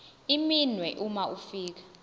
iminwe uma ufika